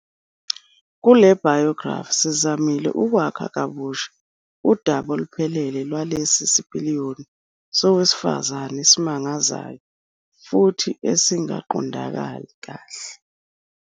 Kule biography, sizamile ukwakha kabusha udaba oluphelele lwalesi sipiliyoni sowesifazane esimangazayo futhi esingaqondakali kahle.